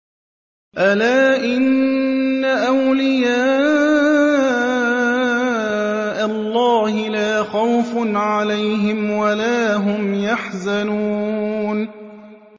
أَلَا إِنَّ أَوْلِيَاءَ اللَّهِ لَا خَوْفٌ عَلَيْهِمْ وَلَا هُمْ يَحْزَنُونَ